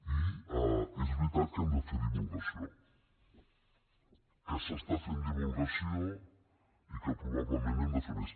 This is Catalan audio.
i és veritat que hem de fer divulgació que s’està fent divulgació i que probablement n’hem de fer més